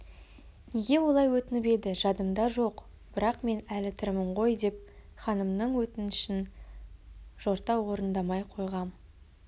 неге олай өтініп еді жадымда жоқ бірақ мен әлі тірімін ғойдеп ханымның өтінішін жорта орындамай қойғам